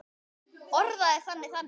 Orðaði það þannig.